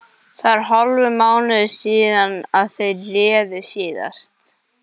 Það er hálfur mánuður síðan þeir reru síðast.